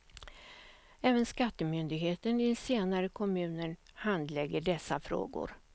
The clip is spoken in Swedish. Även skattemyndigheten i den senare kommunen handlägger dessa frågor.